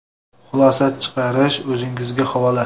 Xulosa chiqarish o‘zingizga havola.